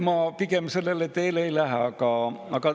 Ma pigem sellele teele ei lähe.